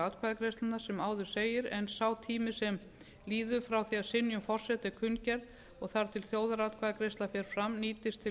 atkvæðagreiðsluna sem áður segir en sá tími sem líður frá því að synjun forseta er kunngerð og þar til þjóðaratkvæðagreiðsla fer fram nýtist til